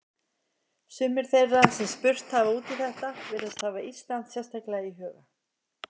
Sumir þeirra sem spurt hafa út í þetta virðast hafa Ísland sérstaklega í huga.